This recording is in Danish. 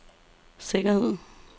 sikkerhed